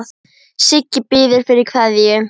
Siggi biður fyrir kveðju.